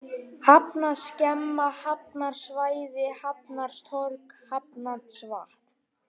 Hafnarskemman, Hafnarsvæðið, Hafnartorg, Hafnarvatn